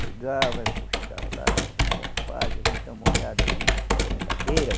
Chegava fo, chegava lá, eu vim dar uma olhada aqui na tua brincadeira.